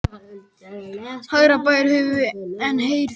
Hærra ber höfuð en herðar.